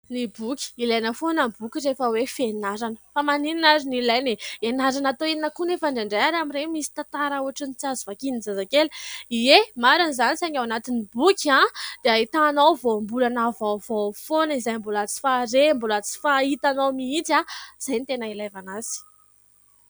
Ny boky. Ilaina foana ny boky rehefa hoe fianarana. Fa maninana ary no ilaina e ? Ianarana atao inona koa nefa indraindray ary amin'ireny misy tantara ohatrany tsy azo vakian'ny zazakely ? Ie, marina izany saingy ao anatin'ny boky ao dia ahitanao voambolana vaovao foana izay mbola tsy fahare, mbola tsy fahitanao mihitsy ao, izay no tena ilavana azy.